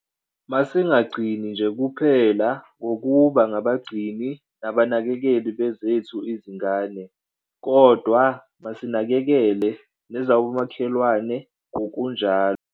Masingagcini nje kuphela ngokuba ngabagcini nabanakekeli bezethu izingane kodwa masinakekele nezomakhelwane ngokunjalo.